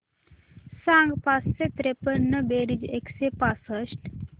सांग पाचशे त्रेपन्न बेरीज एकशे पासष्ट